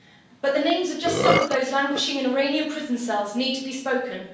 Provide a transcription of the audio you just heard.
But the names of just some of those languishing in Iranian prison cells need to be spoken.